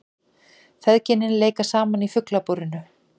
Feðgin leika saman í Fuglabúrinu